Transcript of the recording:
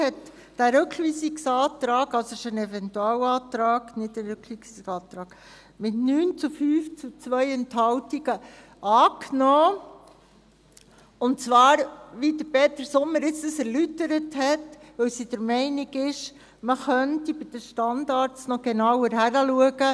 Die BaK hat den Rückweisungsantrag – es ist ein Eventualantrag, kein Rückweisungsantrag – mit 9 zu 5 Stimmen bei 2 Enthaltungen angenommen, und zwar, wie Peter Sommer gerade erläutert hat, weil sie der Meinung ist, bei den Standards könnte noch genauer hingesehen werden.